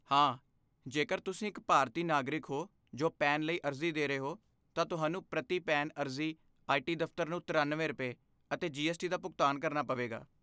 ਹਾਂ, ਜੇਕਰ ਤੁਸੀਂ ਇੱਕ ਭਾਰਤੀ ਨਾਗਰਿਕ ਹੋ ਜੋ ਪੈਨ ਲਈ ਅਰਜ਼ੀ ਦੇ ਰਹੇ ਹੋ, ਤਾਂ ਤੁਹਾਨੂੰ ਪ੍ਰਤੀ ਪੈਨ ਅਰਜ਼ੀ ਆਈਟੀ ਦਫ਼ਤਰ ਨੂੰ ਤਰਿਆਨਵੇਂ ਰੁਪਏ, ਅਤੇ ਜੀ ਐੱਸ ਟੀ ਦਾ ਭੁਗਤਾਨ ਕਰਨਾ ਪਵੇਗਾ